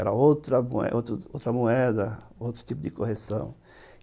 Era outra outra moeda, outro tipo de correção.